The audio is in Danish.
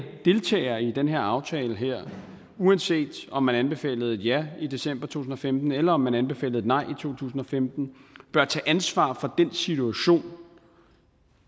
deltagere i den her aftale uanset om man anbefalede et ja i december to tusind og femten eller om man anbefalede et nej i to tusind og femten bør tage ansvar for den situation